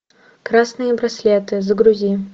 красные браслеты загрузи